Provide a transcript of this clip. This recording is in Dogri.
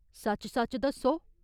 सच्च सच्च दस्सौ।